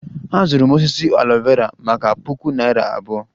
Azụrụ m osisi aloe Vera maka puku naira abụọ